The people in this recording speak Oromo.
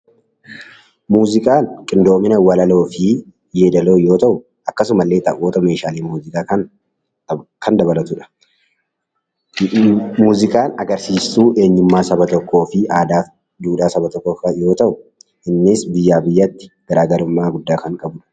Muuziqaan qindoomina walaloo fi yeedaloo yoo tahu akkasuma illee taphoota meeshaalee muuziqaa ta'aan Kan dabalatudha. Muuziqaan agarsiistuu eenyumaa Saba tokkoo fi aadaa fi duudhaa Saba tokkoo yoo tahu Innis biyyaa biyyatti garaagarummaa dhugaa Kan qabudha.